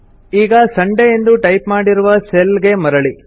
ಈಗ ಸಂಡೇ ಎಂದು ಟೈಪ್ ಮಾಡಿರುವ ಸೆಲ್ ಗೆ ಮರಳಿ